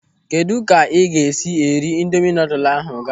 Kedụ ka ị ga-esi eri ịndomị noodle ahụ ga?